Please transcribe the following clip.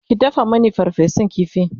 ki dafa Mani farfesun ƙifi!